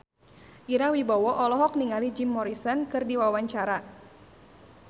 Ira Wibowo olohok ningali Jim Morrison keur diwawancara